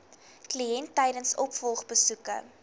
kliënt tydens opvolgbesoeke